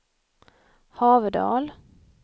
Haverdal